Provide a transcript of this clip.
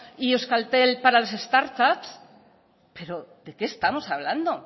y euskaltel para las startups pero de qué estamos hablando